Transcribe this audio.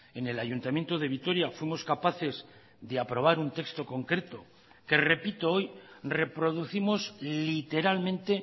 en el ayuntamiento de vitoria fuimos capaces de aprobar un texto concreto que repito hoy reproducimos literalmente